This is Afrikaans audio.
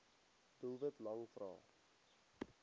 doelwit lang vrae